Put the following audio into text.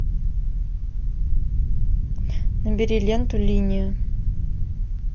набери ленту линия